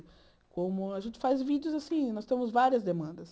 Como a gente faz vídeos assim, nós temos várias demandas.